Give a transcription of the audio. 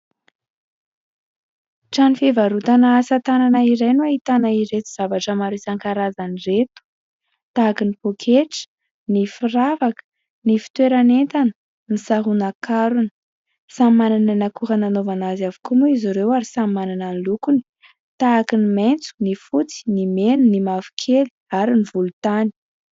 Trano fivarotana asa tanana iray no ahitana ireto zavatra maro isan-karazany ireto : tahaka ny pôketra, ny firavaka, ny fitoeran'entana, ny saronan-karona... Samy manana ny akora nanaovana azy avokoa moa izy ireo ary samy manana ny lokony : tahaka ny maitso, ny fotsy, ny mena, ny mavokely ary ny volontany.